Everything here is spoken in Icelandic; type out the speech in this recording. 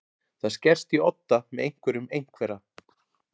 Það skerst í odda með einhverjum einhverra